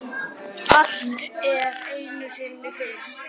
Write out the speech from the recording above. Allt er einu sinni fyrst.